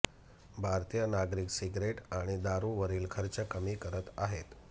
भारतीय नागरिक सिगरेट आणि दारूवरील खर्च कमी करत आहेत